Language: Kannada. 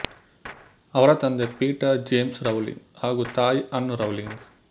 ಅವರ ತಂದೆ ಪೀಟರ್ ಜೇಮ್ಸ್ ರೌಲಿಂಗ್ ಹಾಗು ತಾಯಿ ಆನ್ ರೌಲಿಂಗ್